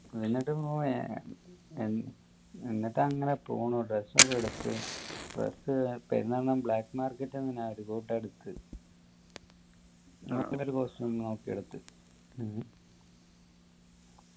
എന്നിട്ട് ബ്രോ ഏർ ഏർ എന്നിട്ട് അങ്ങനെ പോന്നു dress ഒക്കെ എടുത്ത് dress പെരുന്നാൾ നു black market എങ്ങനാ അതുക്കൂട്ടു എടുക്കു ഒരു costume നോക്കി എടുത്തു ഉം